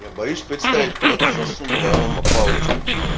я боюсь представить куда-то засунула аромапалочку